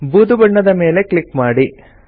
ಬೂದು ಬಣ್ಣದ ಮೇಲೆ ಕ್ಲಿಕ್ ಮಾಡಿ